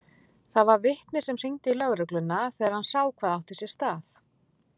Það var vitni sem hringdi í lögregluna þegar hann sá hvað átti sér stað.